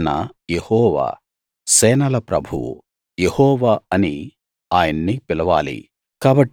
ఈయన యెహోవా సేనల ప్రభువు యెహోవా అని ఆయన్ను పిలవాలి